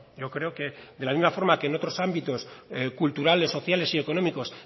yo creo que de la misma forma que en otros ámbitos culturales sociales y económicos